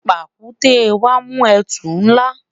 pàkúté wa mu etu nla